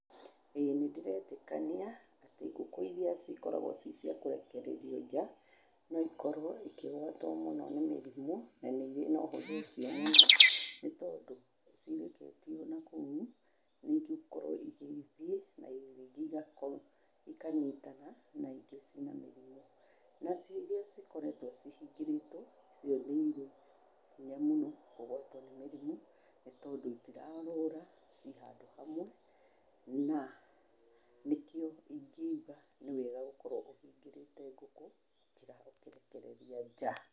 ĩĩ nĩ ndĩretĩkania atĩ ngũkũ iria cikoragwo ci cia kũrekererio nja, no ikorwo ikĩgwatwo mũno nĩ mĩrimũ, na nĩ irĩ na ũhũthũ ũcio mũno, nĩ tondũ cireketio nakũu, nĩ igũkorwo igĩthiĩ na rĩngĩ igakorwo, ikanyitana na ingĩ ciĩna mĩrimũ. Na cio iria cikoretwo cihingĩrĩtwo, icio nĩ irĩ hinya mũno kũgwatwo nĩ mĩrimũ, nĩ tondũ itirorũra, ci handũ hamwe. Na nĩ kĩo ingiuga nĩ wega gũkorwo ũhingĩrĩte ngũkũ, gũkĩra gũcirekereria nja.